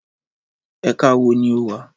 Ẹka wo ni o wa?